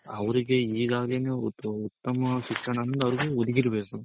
ಅವ್ರಿಗೆ ಇಗಾಗಿನು ಉತ್ತಮ ಶಿಕ್ಷಣ ಅನ್ನೋದು ಅವ್ರಿಗೆ ಒದಗಿರ್ಬೇಕು.